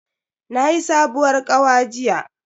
Nayi sabuwar kawa jiya.